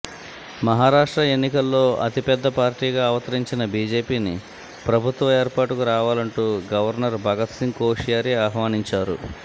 మహారాష్ట్ర ఎన్నికల్లో అతిపెద్ద పార్టీగా అవతరించిన బీజేపీని ప్రభుత్వ ఏర్పాటుకు రావాలంటూ గవర్నర్ భగత్సింగ్ కోశ్యారీ ఆహ్వానించారు